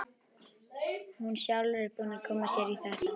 Hún er sjálf búin að koma sér í þetta.